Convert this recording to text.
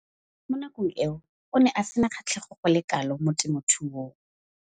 Mo nakong eo o ne a sena kgatlhego go le kalo mo temothuong.